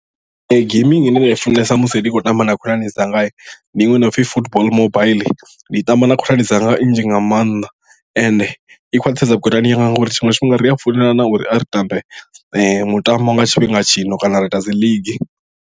Ee gambling ine nda i funesa musi ndi tshi khou tamba na khonani dzanga ndi iṅwe ine ya pfhi football mobaiḽi ndi i tamba na khonani dzanga nnzhi nga maanḓa and i khwaṱhisedza vhukonani yanga ngauri tshiṅwe tshifhinga ri a founelana uri a ri tambe mutambo nga tshifhinga tshino kana ra ita a dzi league.